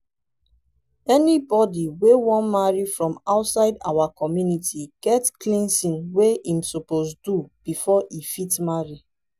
anybody wey wan marry from outside our community get cleansing wey im suppose do before e fit marry